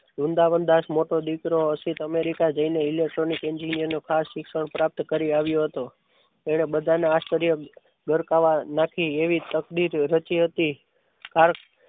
વૃંદાવનદાસ મોટો દીકરો હશે america જઈને electronic enginer નો ખાસ શિક્ષણ પ્રાપ્ત કરી આવ્યો હતો તેણે બધાના આચાર્ય ઘરકાવમાં નાખી એવી તક તકદીર રચી હતી.